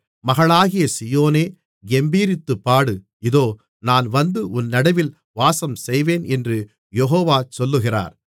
மகளாகிய சீயோனே கெம்பீரித்துப்பாடு இதோ நான் வந்து உன் நடுவில் வாசம்செய்வேன் என்று யெகோவா சொல்லுகிறார்